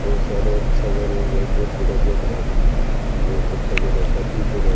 बहुत सारे सजा रो बोहोत बड़ा घर है बोहोत अच्छा घर है शादी को घर।